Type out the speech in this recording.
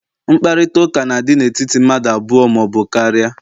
Mkparịta ụka na dị n'etiti mmadụ abụọ ma ọ bụ karịa